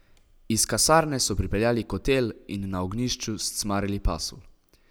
Iz kasarne so pripeljali kotel in na ognjišču scmarili pasulj.